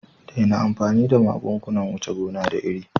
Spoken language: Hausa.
Daina amfani da magungunan wuce gona da iri